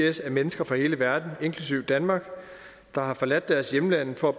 is af mennesker fra hele verden inklusive danmark der har forladt deres hjemlande for at